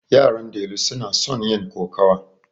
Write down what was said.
Yaran delu suna son yin kokawa.